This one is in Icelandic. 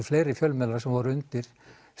fleiri fjölmiðlar sem voru undir